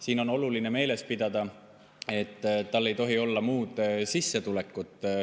Siin on oluline meeles pidada, et neil ei tohi olla muud sissetulekut.